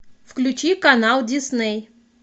включи канал дисней